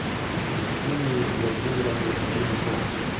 евгенией владимировной гунько